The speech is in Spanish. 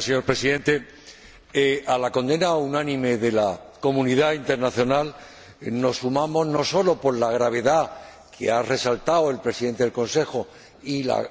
Señor Presidente, nos sumamos a la condena unánime de la comunidad internacional, no sólo por la gravedad —que han resaltado el Presidente en ejercicio del Consejo y la